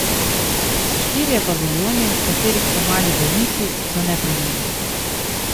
Štirje paviljoni, v katerih so mali bolniki, so neprimerni.